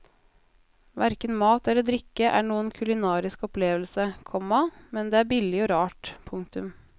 Hverken mat eller drikke er noen kulinarisk opplevelse, komma men det er billig og rart. punktum